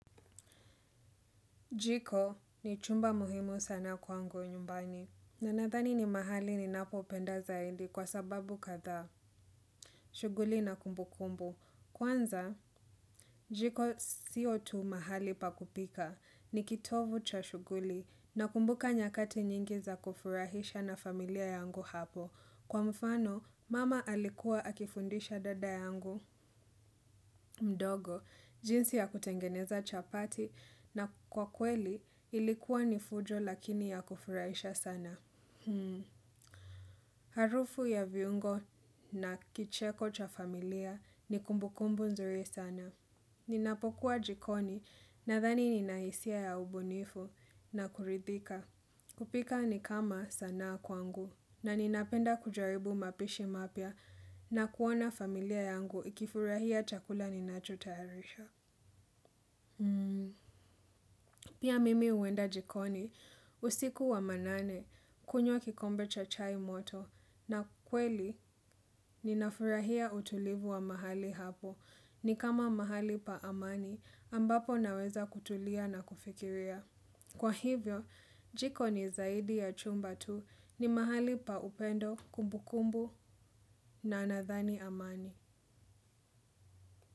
Jiko ni chumba muhimu sana kwangu nyumbani. Na nadhani ni mahali ninapo penda zaidi kwa sababu kadhaa. Shughuli na kumbu kumbu. Kwanza, jiko sio tu mahali pa kupika. Ni kitovu cha shuguli na kumbuka nyakati nyingi za kufurahisha na familia yangu hapo. Kwa mfano, mama alikuwa akifundisha dada yangu mdogo, jinsi ya kutengeneza chapati na kwa kweli ilikuwa ni fujo lakini ya kufurahisha sana. Harufu ya viungo na kicheko cha familia ni kumbukumbu nzuri sana. Ninapokuwa jikoni nadhani nina hisia ya ubunifu na kuridhika. Kupika ni kama sanaa kwangu na ninapenda kujaribu mapishi mapya na kuona familia yangu ikifurahia chakula ninacho tayarisha. Pia mimi huenda jikoni usiku wa manane kunywa kikombe cha chai moto na kweli ninafurahia utulivu wa mahali hapo ni kama mahali pa amani ambapo naweza kutulia na kufikiria. Kwa hivyo jikoni zaidi ya chumba tu ni mahali pa upendo kumbukumbu na nadhani amani.